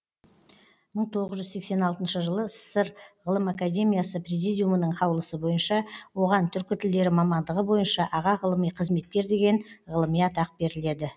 мың тоғыз жүз сексен алтыншы жылы ссср ғылым академиясы президиумының қаулысы бойынша оған түркі тілдері мамандығы бойынша аға ғылыми қызметкер деген ғылыми атақ беріледі